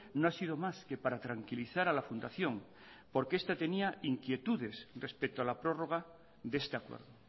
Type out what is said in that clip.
no ha sido más que para tranquilizar a la fundación porque este tenía inquietudes respecto a la prórroga de este acuerdo